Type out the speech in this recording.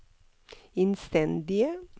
innstendige